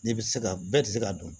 N'i bɛ se ka bɛɛ tɛ se ka dun